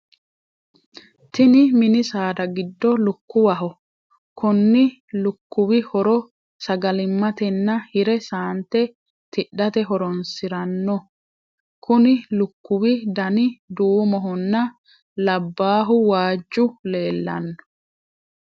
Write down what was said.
Tinni minni saada gido lukuwaho konni lukuwi horo sagalimatenna hire saante tidhate horoonsirano. Konni lukuwi danni duumohonna labaahu waaju leelano.